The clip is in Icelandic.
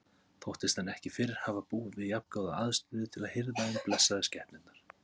Þóttist hann ekki fyrr hafa búið við jafngóða aðstöðu til að hirða um blessaðar skepnurnar.